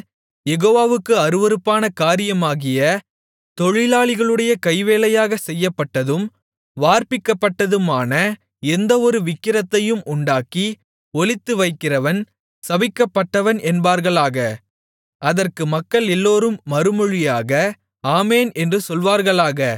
யெகோவாவுக்கு அருவருப்பான காரியமாகிய தொழிலாளிகளுடைய கைவேலையாக செய்யப்பட்டதும் வார்ப்பிக்கப்பட்டதுமான எந்தவொரு விக்கிரகத்தையும் உண்டாக்கி ஒளித்துவைக்கிறவன் சபிக்கப்பட்டவன் என்பார்களாக அதற்கு மக்களெல்லோரும் மறுமொழியாக ஆமென் என்று சொல்வார்களாக